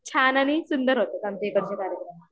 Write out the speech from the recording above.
छान आणि सुंदर होतात आमच्या इकडचे कार्यक्रम